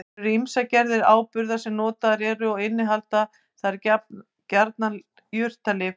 Til eru ýmsar gerðir áburða sem notaðir eru og innihalda þeir gjarnan jurtalyf.